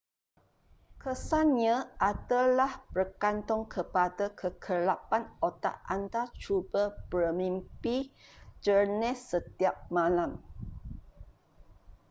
kesan nya adalah bergantung kepada kekerapan otak anda cuba bermimpi jernih setiap malam